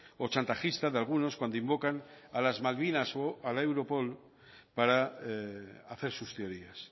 o chantajista de algunos cuando invocan a las malvinas o a la europol para hacer sus teorías